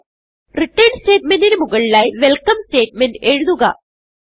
return സ്റ്റേറ്റ്മെന്റിന് മുകളിലായി welcome statement എഴുതുക